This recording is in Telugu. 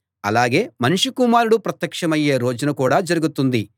అలాగే మనుష్య కుమారుడు ప్రత్యక్షమయ్యే రోజున కూడా జరుగుతుంది